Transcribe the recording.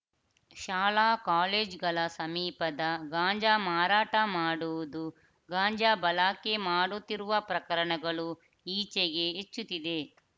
ಶಾಲಾಕಾಲೇಜುಗಳ ಸಮೀಪದ ಗಾಂಜಾ ಮಾರಾಟ ಮಾಡುವುದು ಗಾಂಜಾ ಬಳಾಕೆ ಮಾಡುತ್ತಿರುವ ಪ್ರಕರಣಗಳು ಈಚೆಗೆ ಹೆಚ್ಚುತ್ತಿದೆ